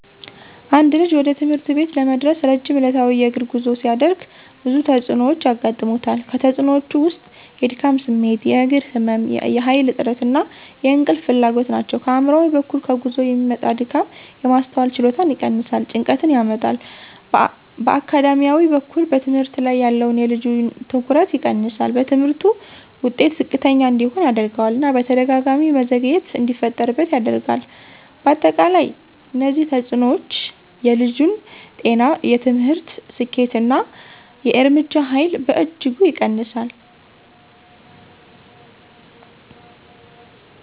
አንድ ልጅ ወደ ትምህርት ቤት ለመድረስ ረጅም ዕለታዊ የእግር ጉዞ ሲያደርግ ብዙ ተጽዕኖዎች ያጋጥሙታል። ከተፅእኖወቹ ውስጥ የድካም ስሜት፣ የእግር ህመም፣ የኃይል እጥረት እና የእንቅልፍ ፍላጎት ናቸው። ከአእምሯዊ በኩል ከጉዞ የሚመጣ ድካም የማስተዋል ችሎታን ይቀንሳል፣ ጭንቀትን ያመጣል። በአካዳሚያዊ በኩል በትምህርት ላይ ያለውን የልጁን ትኩረት ይቀንሳል፣ በትምህርቱ ውጤት ዝቅተኛ እንዲሆን ያደርገዋል እና በተደጋጋሚ መዘግየት እንዲፈጠርበት ያደርጋል። በአጠቃላይ እነዚህ ተጽዕኖዎች የልጁን ጤና፣ የትምህርት ስኬት እና የእርምጃ ኃይል በእጅጉ ይቀንሳሉ።